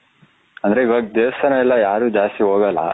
ಅಂದ್ರೆ ಇವಾಗ ದೇವಸ್ಥಾನ ಎಲ್ಲ ಯಾರು ಜಾಸ್ತಿ ಹೋಗಲ್ಲ